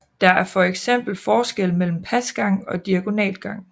Der er for eksempel forskel mellem pasgang og diagonalgang